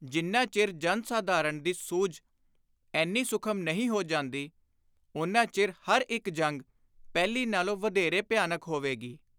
ਜਿੰਨਾ ਚਿਰ ਜਨ-ਸਾਧਾਰਣ ਦੀ ਸੁਝ ਏਨੀ ਸੁਖਮ ਨਹੀਂ ਹੋ ਜਾਂਦੀ, ਓਨਾ ਚਿਰ ਹਰ ਇਕ ਜੰਗ ਪਹਿਲੀ ਨਾਲੋਂ ਵਧੋਰੇ ਭਿਆਨਕ ਹੋਵੇਗੀ।